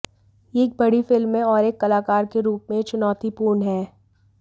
यह एक बड़ी फिल्म है और एक कलाकार के रूप में यह चुनौतीपूर्ण है